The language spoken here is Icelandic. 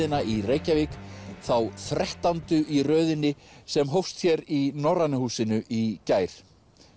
í Reykjavík þá þrettándu í röðinni sem hófst hér í Norræna húsinu í gær